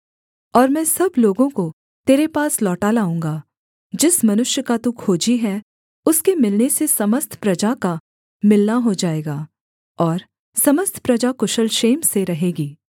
और मैं सब लोगों को तेरे पास लौटा लाऊँगा जिस मनुष्य का तू खोजी है उसके मिलने से समस्त प्रजा का मिलना हो जाएगा और समस्त प्रजा कुशल क्षेम से रहेगी